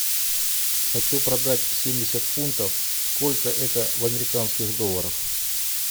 хочу продать семьдесят фунтов сколько это в американских долларах